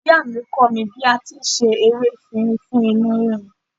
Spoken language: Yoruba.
Ìyáàmi kọ́ mi bí a ti ń se ewé efinrin fún inú rírun.